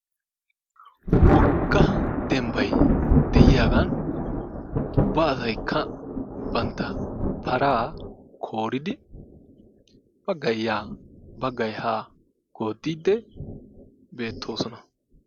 Wogg dembbay de'iyagan ubba asaykka bantta paraa kooridi baggay yaa baggay haa gooddiidi bettoosona.